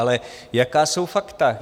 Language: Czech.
Ale jaká jsou fakta?